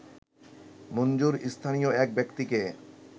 মঞ্জুর স্থানীয় এক ব্যক্তিকে